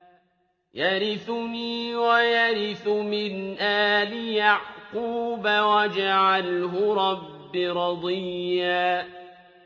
يَرِثُنِي وَيَرِثُ مِنْ آلِ يَعْقُوبَ ۖ وَاجْعَلْهُ رَبِّ رَضِيًّا